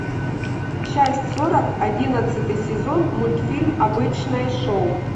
часть сорок одиннадцатый сезон мультфильм обычное шоу